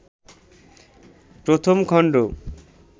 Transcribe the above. ১ম খণ্ড